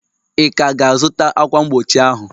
Ị ka ga-azụta ákwà mgbochi ahụ?